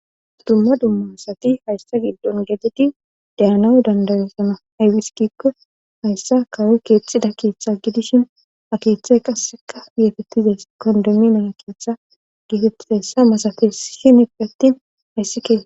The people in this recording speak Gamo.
Dumma dumma asati hayssa giddon gededi deyanawu dandarosana haywiskikko hayssa kawo keethxida keeththe gidishin ha keeththey qasseka yeefettizays kondemminana keeththa gefetessa masafe shinip attin hayssikee.